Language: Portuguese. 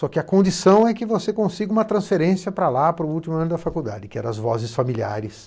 Só que a condição é que você consiga uma transferência para lá, para o último ano da faculdade, que era as vozes familiares.